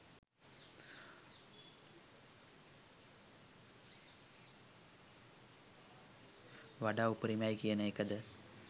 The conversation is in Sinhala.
වඩා උපරිමයි කියන එකද?